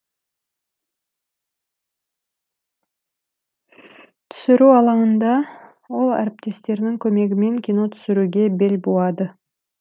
түсіру алаңында ол әріптестерінің көмегімен кино түсіруге бел буады